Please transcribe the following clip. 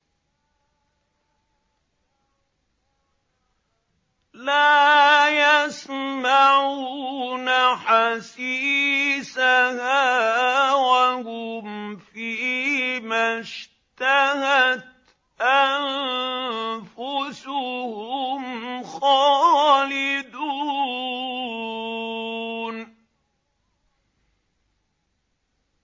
لَا يَسْمَعُونَ حَسِيسَهَا ۖ وَهُمْ فِي مَا اشْتَهَتْ أَنفُسُهُمْ خَالِدُونَ